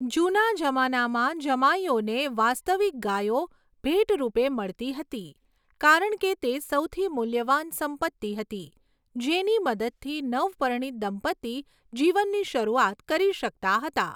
જૂના જમાનામાં જમાઈઓને વાસ્તવિક ગાયો ભેટ રૂપે મળતી હતી કારણ કે તે સૌથી મૂલ્યવાન સંપત્તિ હતી, જેની મદદથી નવપરિણીત દંપતી જીવનની શરૂઆત કરી શકતા હતા.